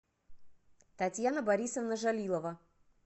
татьяна борисовна жалилова